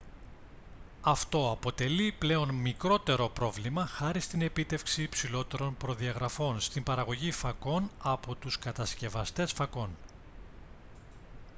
αυτό αποτελεί πλέον μικρότερο πρόβλημα χάρη στην επίτευξη υψηλότερων προδιαγραφών στην παραγωγή φακών από τους κατασκευαστές φακών